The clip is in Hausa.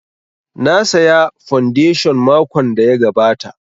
Na saya fondation makon da ya gabata